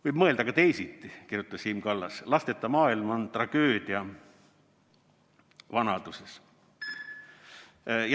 Võib mõelda ka teisiti, kirjutas Siim Kallas, lasteta maailm on tragöödia vanaduses.